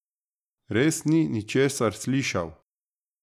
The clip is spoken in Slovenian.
Res ni ničesar slišal?